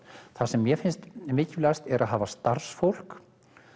það sem mér finnst mikilvægast er að hafa starfsfólk